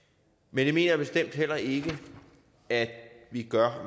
men jeg mener bestemt heller ikke at vi gør